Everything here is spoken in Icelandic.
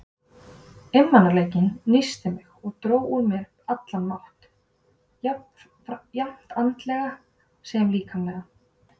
Einmanaleikinn nísti mig og dró úr mér allan mátt, jafnt andlegan sem líkamlegan.